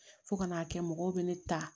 Fo ka n'a kɛ mɔgɔw bɛ ne ta